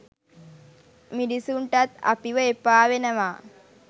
මිනිස්සුන්ටත් අපිව එපා වෙනවා.